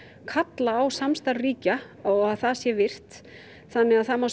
kallar á samstarf ríkja og að það sé virt þarna má